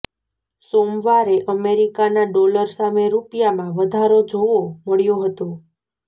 સોમવારે અમેરિકાના ડોલર સામે રૂપિયામાં વધારો જોવો મળ્યો હતો